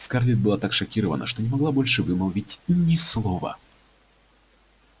скарлетт была так шокирована что не могла больше вымолвить ни слова